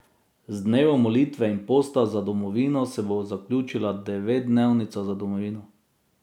Z dnevom molitve in posta za domovino se bo zaključila devetdnevnica za domovino.